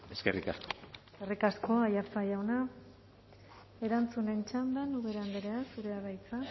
eskerrik asko eskerrik asko aiartza jauna erantzunen txandan ubera andrea zurea da hitza